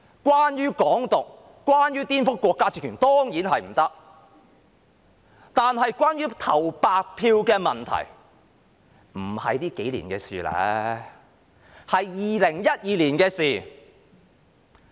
關於"港獨"、顛覆國家政權，當然不可，但關於投白票的問題，不是這數年的事，而是2012年的事。